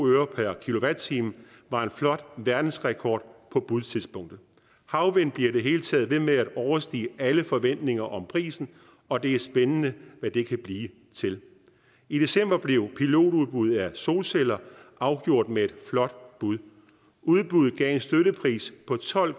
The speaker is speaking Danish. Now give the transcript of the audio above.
øre per kilowatt time var en flot verdensrekord på budtidspunktet havvind bliver i det hele taget ved med at overstige alle forventninger om prisen og det er spændende hvad det kan blive til i december blev pilotudbud af solceller afgjort med et flot bud udbuddet gav en støttepris på tolv